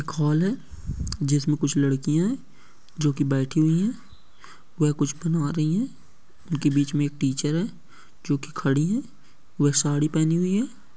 एक हॉल है जिसमें कुछ लड़कियां है जो की बैठी हुई है कोई कुछ बना रही है उनके बीच मे एक टीचर है जो की खड़ी है। वह साड़ी पहनी हुई है।